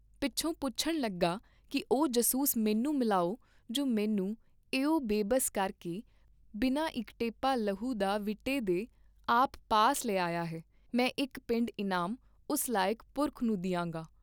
ਪਿੱਛੋਂ ਪੁੱਛਣ ਲੱਗਾ ਕੀ ਉਹ ਜਾਸੂਸ ਮੈਨੂੰ ਮਿਲਾਓ ਜੋ ਮੈਨੂੰ ਐਉਂ ਬੇਬਸ ਕਰ ਕੇ ਬਿਨਾਂ ਇਕ ਟੇਪਾ ਲਹੂ ਦਾ ਵੀਟੇ ਦੇ , ਆਪ ਪਾਸ ਲੈ ਆਇਆ ਹੈ, ਮੈਂ ਇਕ ਪਿੰਡ ਇਨਾਮ ਉਸ ਲਾਇਕ ਪੁਰਖ ਨੂੰ ਦੀਆਂਗਾ।